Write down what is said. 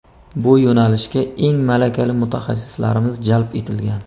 Bu yo‘nalishga eng malakali mutaxassislarimiz jalb etilgan.